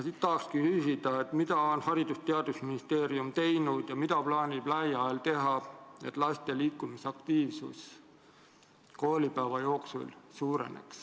Tahakski küsida, mida on Haridus- ja Teadusministeerium teinud ja mida plaanib lähiajal teha, et laste liikumisaktiivsus koolipäeva jooksul suureneks.